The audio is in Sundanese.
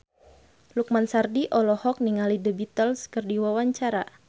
Lukman Sardi olohok ningali The Beatles keur diwawancara